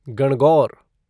Gangaur